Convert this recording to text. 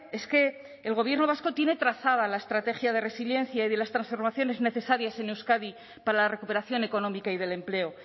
es que el gobierno vasco tiene trazada la estrategia de resiliencia y de las transformaciones necesarias en euskadi para la recuperación económica y del empleo